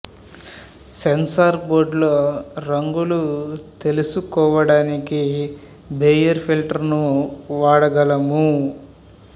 censor board లో రంగులు తెల్సు కోవడానికి బేయర్ ఫిల్టర్ ను వాడగలము